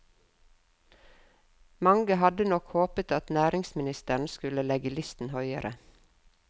Mange hadde nok håpet at næringsministeren skulle legge listen høyere.